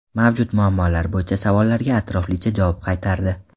Mavjud muammolar bo‘yicha savollarga atroflicha javob qaytardi.